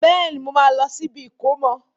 Bẹ́ẹ̀ni, mo máa lọ sí ibi ìkómọ.